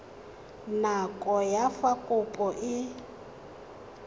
nako ya fa kopo e